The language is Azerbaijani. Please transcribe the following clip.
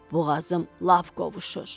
Boğazım lap qovuşur.